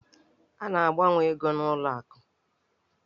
A na-agbanwe ego n'ụlọ akụ.